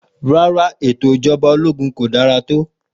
Rárá ètò Ìjọba ológun kò dára tó.